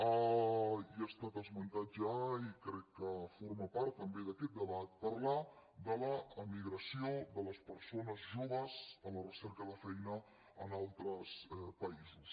i ha estat esmentat ja i crec que forma part també d’aquest debat parlar de l’emigració de les persones joves en la recerca de feina en altres països